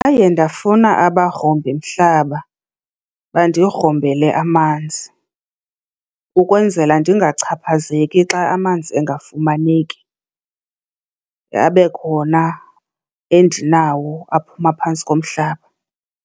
ndafuna abagrumbimhlaba bandigrumbele amanzi ukwenzela ndingachaphazeleki xa amanzi engafumaneki, abe khona endinawo aphuma phantsi komhlaba.